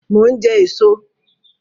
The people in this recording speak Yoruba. Mo ń jẹ èso